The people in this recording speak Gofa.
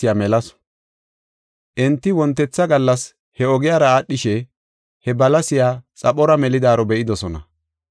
Enti wontetha gallas he ogiyara aadhishe, he balasiya xaphora melidaaro be7idosona.